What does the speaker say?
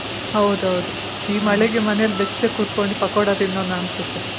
ಹೌದೌ ಹೌದು ಈ ಮಳೆ ಗೆ ಮನೇಲಿ ಬೆಚ್ಚಗೆ ಕುತ್ಕೊಂಡು ಪಕ್ಕೋಡ ತಿನ್ನೋಣ ಅನ್ಸುತ್ತೆ.